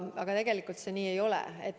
Aga nii see ei ole.